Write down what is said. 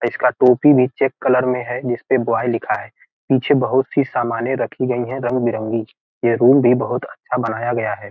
इसका टोपी भी चेक कलर में है जिसपे बॉय लिखा है पीछे बहुत सी सामनें रखी गई हैं रंग बिरंगी ये रूम भी बहुत अच्छा बनाया गया है।